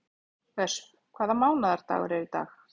Ösp, hvaða mánaðardagur er í dag?